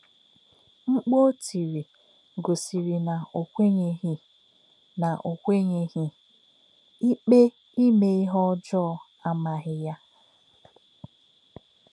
Mkpù̄ ó tìrì gòsírì na ò kwè̄nyè̄ghì na ò kwè̄nyè̄ghì; íkpè imé ìhè ọ̀jọọ̀ àmághì yā.